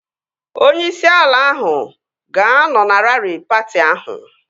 Onye isi ala ahụ ga-anọ na raari patị ahụ